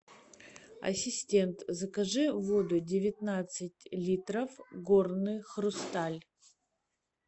ассистент закажи воду девятнадцать литров горный хрусталь